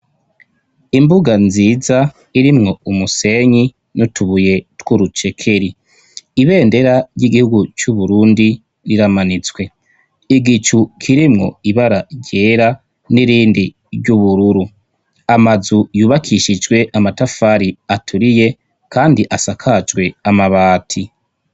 Imbuga nziza irimwo umusenyi n'utubuye twurucekeli. Ibendera ry'igihugu c'uburundi riramanitswe, igicu kirimwo ibara ryera n'irindi ry'ubururu, amazu yubakishijwe amatafari aturiye kandi asakajwe amabati.